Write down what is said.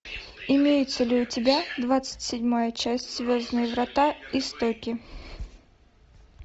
имеется ли у тебя двадцать седьмая часть звездные врата истоки